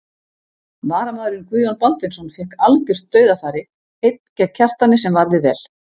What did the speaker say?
Varamaðurinn Guðjón Baldvinsson fékk algjört dauðafæri einn gegn Kjartani sem varði vel.